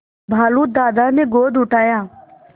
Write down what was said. भालू दादा ने गोद उठाया